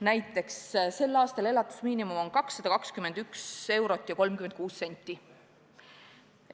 Näiteks sel aastal on elatusmiinimum 221 eurot ja 36 senti.